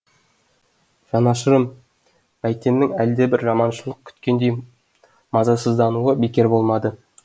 жанашырым бәйтеннің әлдебір жаманшылық күткендей мазасыздануы бекер болмады